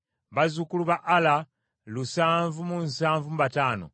bazzukulu ba Ala lusanvu mu nsavu mu bataano (775),